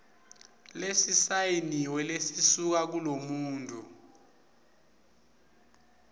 lesisayiniwe lesisuka kulomuntfu